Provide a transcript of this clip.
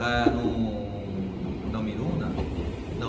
Não, não Miruna, não.